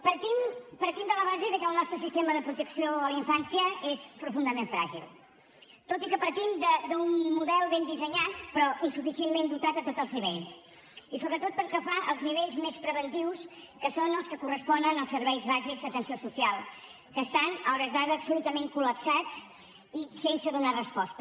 partim de la base que el nostre sistema de protecció a la infància és profundament fràgil tot i que partim d’un model ben dissenyat però insuficientment dotat a tots els nivells i sobretot pel que fa als nivells més preventius que són els que corresponen als serveis bàsics d’atenció social que estan a hores d’ara absolutament col·lapsats i sense donar resposta